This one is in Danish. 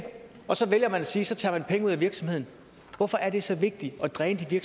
så vælger man at sige taget penge ud af virksomheden hvorfor er det så vigtigt at dræne de